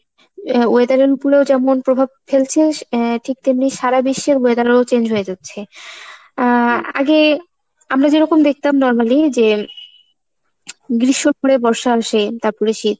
weather এর উপরে ও যেমন প্রভাব ফেলছে আহ ঠিক তেমনি সারা বিশ্বের weather ও change হয়ে যাচ্ছে। আহ আগে আমরা যেরকম দেখতাম normally যে গ্রীষ্ম ঘুরে বর্ষা আসে তাপরে শীত,